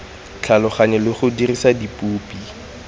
tlhaloganya le go dirisa dipopi